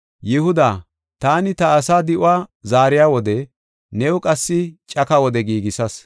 “Yihuda, taani ta asaa di7uwa zaariya wode new qassi caka wode giigisas.